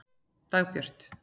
Dagbjört